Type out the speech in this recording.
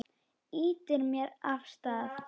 Ýtir mér af stað.